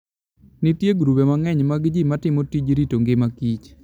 Nitie grube mang'eny mag ji matimo tij rito ngimaKich.